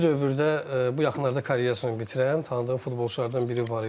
İndiki dövrdə bu yaxınlarda karyerasını bitirən, tanıdığım futbolçulardan biri var idi.